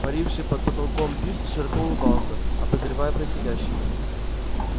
паривший под потолком пивз широко улыбался обозревая происходящее